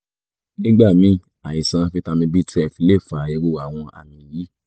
nígbà míì àìsí fítámì b12 lè fa irú àwọn àmì yìí